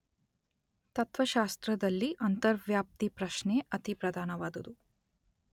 ತತ್ತ್ವಶಾಸ್ತ್ರದಲ್ಲಿ ಅಂತರ್ವ್ಯಾಪ್ತಿ ಪ್ರಶ್ನೆ ಅತಿ ಪ್ರಧಾನವಾದುದು.